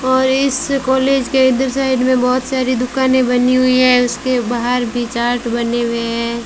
और इस कॉलेज के इधर साइड में बहुत सारी दुकानें बनी हुई हैं इसके बाहर भी चार्ट बने हुए हैं।